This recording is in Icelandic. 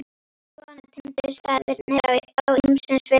Já, svona tengdust staðirnir á ýmsum sviðum.